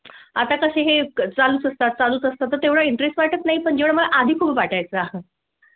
आता कसे हे चालू असतात, चालू असतात एवढा interest वाटत नाही पण मला आधी खूप वाटाय चं.